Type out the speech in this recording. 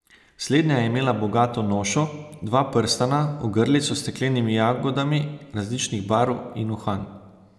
Slednja je imela bogato nošo, dva prstana, ogrlico s steklenimi jagodami različnih barv in uhan.